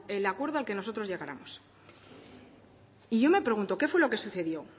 el acuerdo al que nosotros llegáramos y yo me pregunto qué fue lo que sucedió